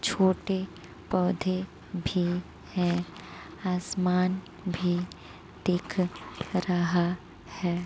छोटे पौधे भी हैं आसमान भी दिख रहा है।